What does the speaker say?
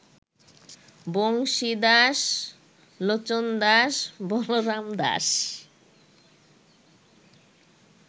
Banshidas, Lochandas, Balaramdas